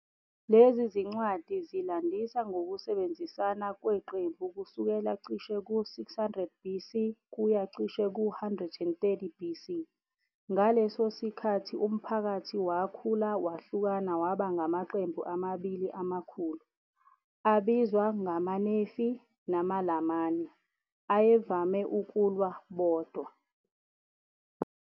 Lezi zincwadi zilandisa ngokusebenzisana kweqembu kusukela cishe ku-600 BC kuya cishe ku-130 BC, ngaleso sikhathi umphakathi wakhula wahlukana waba ngamaqembu amabili amakhulu, abizwa ngamaNefi namaLamani, ayevame ukulwa bodwa.